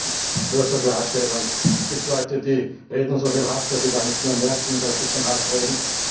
Herr Präsident! Nur zur Klarstellung Es gibt Leute, die reden so viel Hass, dass sie gar nicht mehr merken, dass sie von Hass reden.